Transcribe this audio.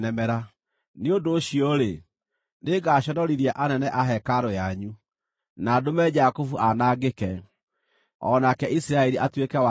Nĩ ũndũ ũcio-rĩ, nĩngaconorithia anene a hekarũ yanyu, na ndũme Jakubu anangĩke, o nake Isiraeli atuĩke wa kũnyararwo.